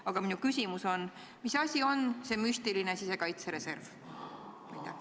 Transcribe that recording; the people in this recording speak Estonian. Aga minu küsimus on: mis asi on see müstiline sisekaitsereserv?